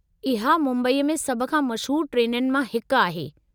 इहा मुंबई में सभु खां मशहूर ट्रेनुनि मां हिकु आहे।